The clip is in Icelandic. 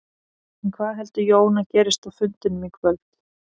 En hvað heldur Jón að gerist á fundinum í kvöld?